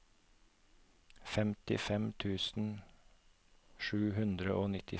femtifem tusen sju hundre og nittifem